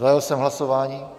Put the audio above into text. Zahájil jsem hlasování.